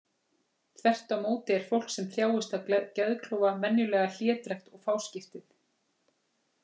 Þvert á móti er fólk sem þjáist af geðklofa venjulega hlédrægt og fáskiptið.